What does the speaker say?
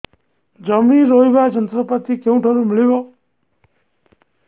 ଜମି ରୋଇବା ଯନ୍ତ୍ରପାତି କେଉଁଠାରୁ ମିଳିବ